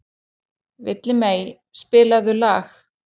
Villimey, spilaðu lag.